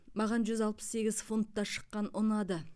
маған жүз алпыс сегіз фунтта шыққан ұнады